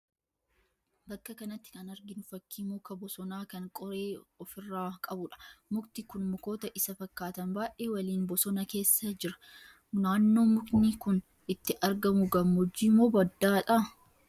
Bakka kanatti kan arginu fakkii muka bosonaa kan qoree ofi irraa qabuudha. Mukti kun mukoota isa fakkaatan baay'ee waliin bosona keessa jira. Naannoo mukni kun itti argamu gammoojjii moo baddaa ta'a?